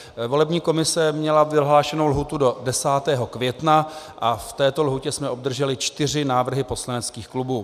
Volební komise měla vyhlášenou lhůtu do 10. května a v této lhůtě jsme obdrželi čtyři návrhy poslaneckých klubů.